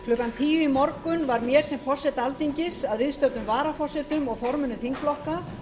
klukkan tíu í morgun var mér sem forseta alþingis að viðstöddum varaforsetum og formönnum þingflokka